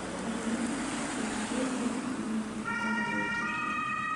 Harĩ we, thĩna wĩho wa atumia amwe kwaga kwĩĩtĩkia